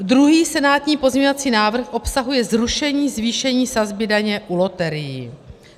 Druhý senátní pozměňovací návrh obsahuje zrušení zvýšení sazby daně u loterií.